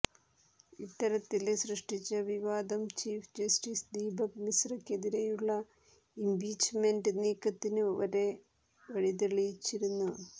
ഇത്തരത്തില് സൃഷ്ടിച്ച വിവാദം ചീഫ് ജസ്റ്റിസ് ദീപക് മിശ്രക്കെതിരെയുള്ള ഇംപീച്ച്മെന്റ് നീക്കത്തിന് വരെ വഴിതെളിച്ചിരുന്നു